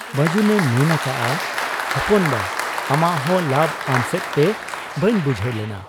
ᱵᱟᱹᱡᱩᱱᱮ ᱢᱮᱱ ᱟᱠᱟᱜ ᱟ, 'ᱦᱚᱯᱚᱱ ᱵᱟ ᱟᱢᱟᱜ ᱦᱚᱸ ᱞᱟᱵᱽ ᱟᱢᱥᱮᱫ ᱛᱮ ᱾ ᱵᱟᱹᱧ ᱵᱩᱡᱷᱟᱹᱣ ᱞᱮᱱᱟ ?'